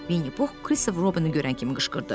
Vinni Pux Kristofer Robini görən kimi qışqırdı.